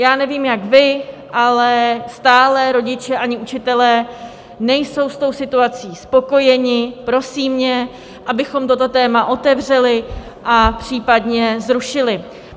Já nevím, jak vy, ale stále rodiče ani učitelé nejsou s tou situací spokojeni, prosí mě, abychom toto téma otevřeli a případně zrušili.